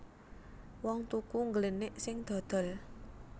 Wong tuku ngglenik sing dodol